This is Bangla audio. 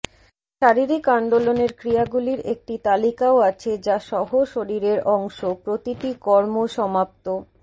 শারীরিক আন্দোলনের ক্রিয়াগুলির একটি তালিকাও আছে যা সহ শরীরের অংশ প্রতিটি কর্ম সমাপ্ত